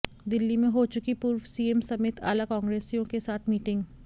दिल्ली में हो चुकी पूर्व सीएम समेत आला कांग्रेसियों के साथ मीटिंग